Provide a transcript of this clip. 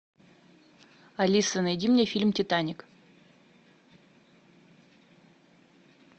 алиса найди мне фильм титаник